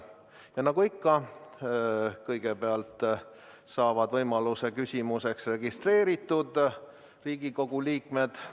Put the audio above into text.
Ja nagu ikka, kõigepealt saavad võimaluse küsida registreeritud Riigikogu liikmed.